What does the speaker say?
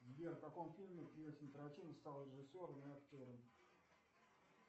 сбер в каком фильме квентин тарантино стал режиссером и актером